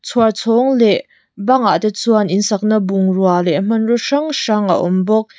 chhuar chhawng leh bangah te chuan in sakna bungrua leh hmanraw hrang hrang a awm bawk.